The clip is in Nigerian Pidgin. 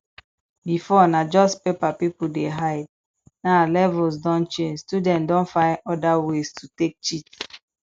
before na just paper pipo dey hide now levels don change student don find oda ways to take cheat